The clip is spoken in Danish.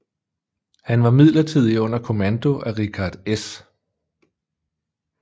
Han var midlertidigt under kommando af Richard S